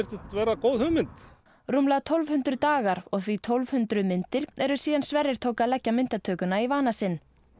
vera góð hugmynd rúmlega tólf hundruð dagar og því tólf hundruð myndir eru síðan Sverrir tók að leggja myndatökuna í vana sinn